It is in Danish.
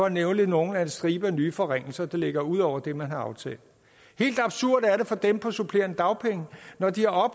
at nævne nogle af striben af nye forringelser der ligger ud over det man har aftalt helt absurd er det for dem på supplerende dagpenge når de har